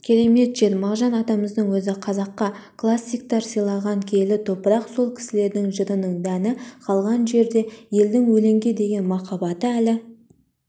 керемет жер мағжан атамыздың өзі қазаққа классиктар сыйлаған киелі топырақ сол кісілердің жырының дәні қалған жерде елдің өлеңге деген махаббаты әлі